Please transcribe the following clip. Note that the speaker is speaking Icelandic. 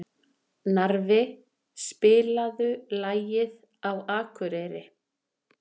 Narfi, spilaðu lagið „Á Akureyri“.